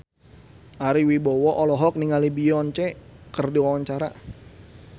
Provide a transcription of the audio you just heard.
Ari Wibowo olohok ningali Beyonce keur diwawancara